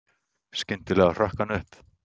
Skyndilega hrökk hann upp.